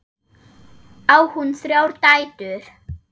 Á hún þrjár dætur.